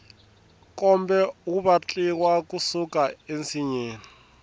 nkombe wu vatliwa ku suka ensinyeni